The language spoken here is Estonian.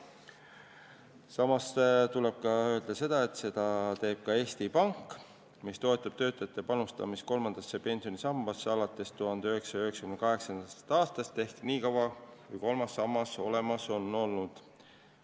Samas tuleb öelda, et seda teeb ka Eesti Pank, mis on toetanud panustamist kolmandasse pensionisambasse alates 1998. aastast ehk nii kaua, kui kolmas sammas on olemas olnud.